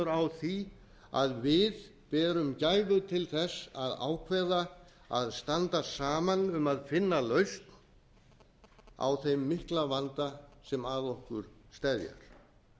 á því að við berum gæfu til þess að ákveða að standa saman um að finna lausn á þeim mikla vanda sem að okkur steðjar